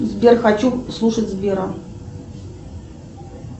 сбер хочу слушать сбера